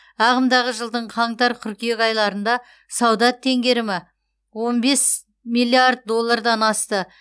ағымдағы жылдың қаңтар қыркүйек айларында сауда теңгерімі он бес миллиард доллардан асты